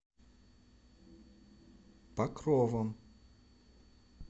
покровом